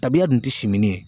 Tabiya dun tɛ simini ye